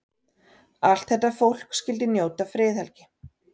Allt þetta fólk skyldi njóta friðhelgi.